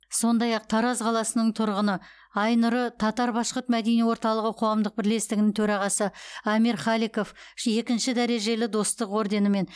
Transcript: сондай ақ тараз қаласының тұрғыны айнұры татар башқұрт мәдени орталығы қоғамдық бірлестігінің төрағасы амир халиков екінші дәрежелі достық орденімен